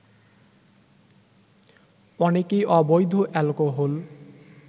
অনেকেই অবৈধ অ্যালকোহল